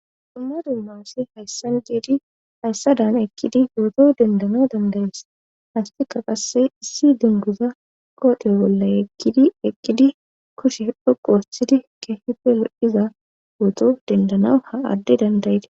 dhumma dummassi hayssan giidi hayssa dan eqqidi gooto dendana dandayees hastika qasse issi dinguza kooteyo bolla eqkidi eqqidi kushe dhoqu wosthidi kehipe lo 7iza gooto dendana ha adde dandayte